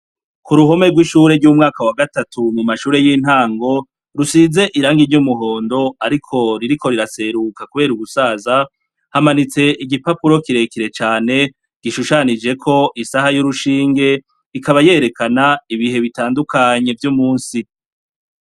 Kuruhome rw'ishure ry’umwaka wa gatatu mumashure y'intango, rusize irangi ryumuhondo ariko ririko riraseruka kubera ugusaza, hamanitse igipapuro kirekire cane gishushanijeko isaha y'urushinge ikaba yerekana ibihe bitandukanye vyumusi.